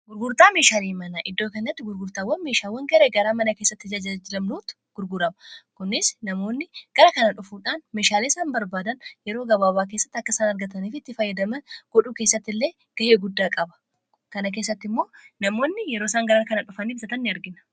gurgurtaa meeshaanii mana iddoo kennatti gurgurtaawwan meeshaawwan garee garaa mana kessatti jajajlamnuutu gurguraba kunis namoonni garaa kanadhufuudhaan meeshaalesan barbaadan yeroo gabaabaa keessatti akkasaan argataniifitti faayyadama godhuu keessatti illee ga'ee guddaa qaba kana keessatti immoo namoonni yeroo isaan garaar kana dhufanii bisaatan ni argina